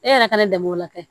E yɛrɛ kana danbew lakɛ